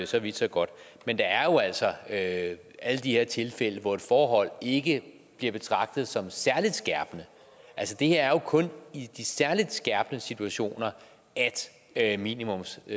så vidt så godt men der er jo altså alle de her tilfælde hvor et forhold ikke bliver betragtet som særlig skærpende det er jo kun i de særlig skærpende situationer at minimumsstraffen